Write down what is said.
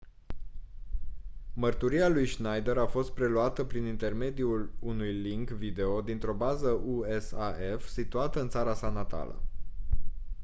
mărturia lui schneider a fost preluată prin intermediul unui link video dintr-o bază usaf situată în țara sa natală